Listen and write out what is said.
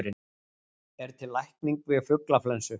Er til lækning við fuglaflensu?